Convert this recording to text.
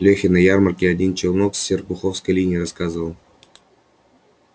лёхе на ярмарке один челнок с серпуховской линии рассказывал